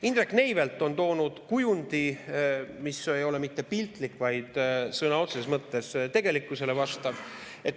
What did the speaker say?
Indrek Neivelt on toonud kujundi, mis ei ole mitte piltlik, vaid sõna otseses mõttes tegelikkusele vastav.